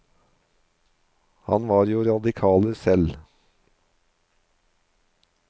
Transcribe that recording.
Han var jo radikaler selv.